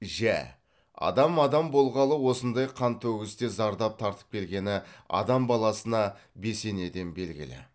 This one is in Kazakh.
жә адам адам болғалы осындай қантөгісте зардап тартып келгені адам баласына бесенеден белгілі